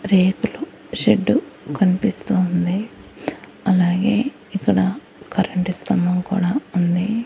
రేకులు షెడ్డు కన్పిస్తూ ఉంది అలాగే ఇక్కడ కరెంటు స్తంభం కూడా ఉంది.